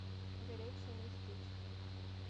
горячее местечко